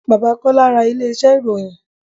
Bàbá Kọ́lá ra ilé iṣẹ́ ìròyìn.